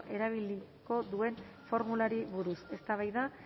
erabiliko duen formulari buruz eztabaida